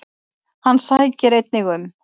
Hann sækir einnig um.